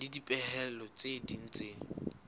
le dipehelo tse ding tse